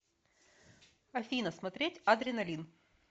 афина смотреть адреналин